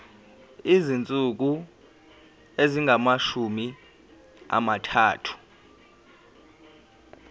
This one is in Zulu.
izinsuku ezingamashumi amathathu